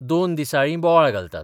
दोन दिसाळीं बोवाळ घालतात.